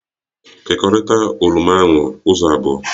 Kekọrita oroma ahụ ụzọ abụọ!